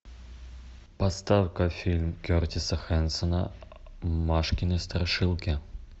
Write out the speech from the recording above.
поставь ка фильм кертиса хэнсона машкины страшилки